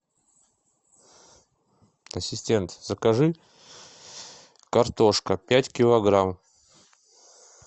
ассистент закажи картошка пять килограмм